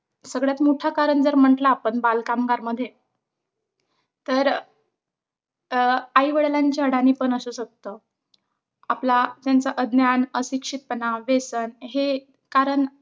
सगळ्यात मोठं कारण जर म्हटलं आपण बालकामगारमध्ये तर अं आई-वडिलांची अडाणीपणा असू शकत. आपला त्यांचं अज्ञान, अशिक्षितपणा, व्यसन हे कारण,